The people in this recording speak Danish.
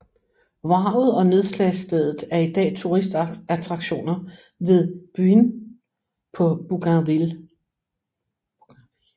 Vraget og nedslagsstedet er i dag turistattraktioner ved Buin på Bougainville